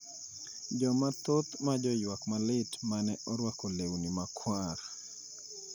Jomathoth ma joywak malit ma ne orwako lewni makwar,